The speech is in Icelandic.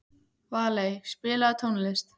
Valey, spilaðu tónlist.